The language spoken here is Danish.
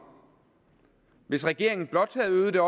hvis regeringen blot havde øget det